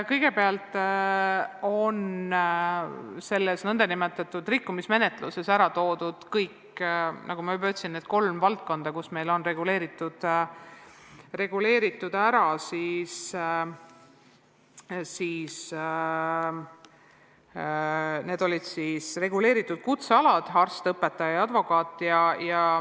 Kõigepealt, nendes nn rikkumismenetlustes on ära toodud need kolm valdkonda, need reguleeritud kutsealad ehk arst, õpetaja ja advokaat.